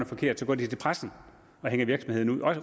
forkert går de til pressen og hænger virksomheden ud